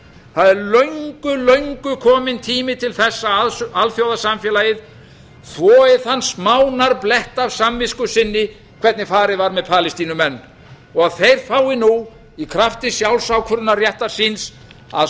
það er löngu löngu kominn tími til þess að alþjóðasamfélagið þvoi þann smánarblett af samvisku sinni hvernig farið var með palestínumenn og þeir fái nú í krafti sjálfsákvörðunarréttar síns að